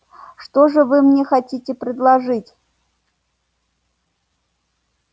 что же вы мне хотите предложить